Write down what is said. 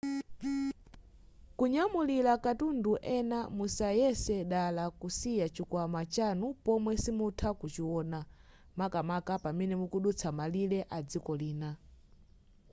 kunyamulira katundu ena musayese dala kusiya chikwama chanu pomwe simukutha kuchiona makamaka pamene mukudutsa malire adziko lina